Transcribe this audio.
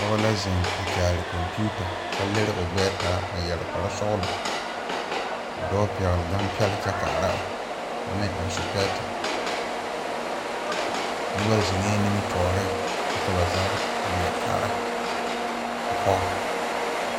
Pɔge la ziŋ a kyaare kompeuta kyɛ lere o gbɛɛ taa a yɛre kpare sɔglɔ ka dɔɔpɛgle gampɛle kyɛ kaara o kyɛ meŋ eŋsɔpɛɛte noba ziŋɛɛ nimitɔɔriŋ kyɛ ka ba zaa leɛ kaara a pɔge.